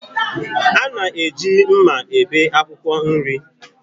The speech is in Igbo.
Ana eji mma ebé akwụkwọ nri.